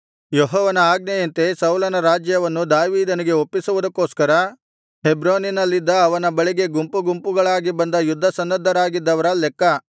ಯೆಹೋವನ ಆಜ್ಞೆಯಂತೆ ಸೌಲನ ರಾಜ್ಯವನ್ನು ದಾವೀದನಿಗೆ ಒಪ್ಪಿಸುವುದಕ್ಕೋಸ್ಕರ ಹೆಬ್ರೋನಿನಲ್ಲಿದ್ದ ಅವನ ಬಳಿಗೆ ಗುಂಪುಗುಂಪುಗಳಾಗಿ ಬಂದ ಯುದ್ಧಸನ್ನದ್ಧರಾಗಿದ್ದವರ ಲೆಕ್ಕ